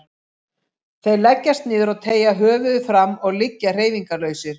Þeir leggjast niður og teygja höfuðið fram og liggja hreyfingarlausir.